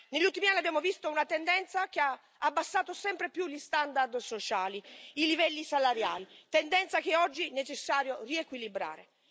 Negli ultimi anni abbiamo visto una tendenza che ha abbassato sempre di più gli standard sociali e i livelli salariali, tendenza che oggi è necessario riequilibrare.